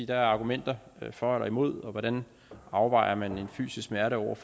der er argumenter for og imod og hvordan afvejer man en fysisk smerte mod